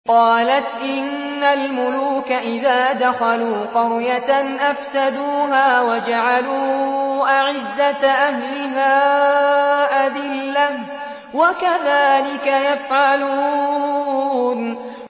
قَالَتْ إِنَّ الْمُلُوكَ إِذَا دَخَلُوا قَرْيَةً أَفْسَدُوهَا وَجَعَلُوا أَعِزَّةَ أَهْلِهَا أَذِلَّةً ۖ وَكَذَٰلِكَ يَفْعَلُونَ